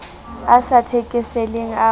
a sa thekeseleng a ho